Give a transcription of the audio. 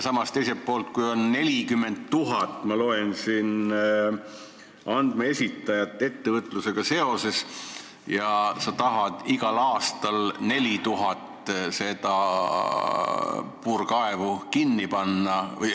Samas, teiselt poolt, on 40 000 – nagu ma siit loen – andmeesitajat ettevõtlusega seoses ja sa tahad igal aastal 4000 naftapuurtorni kinni panna.